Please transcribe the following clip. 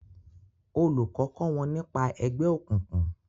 olùkó kọ wón nípa ègbé òkùnkùn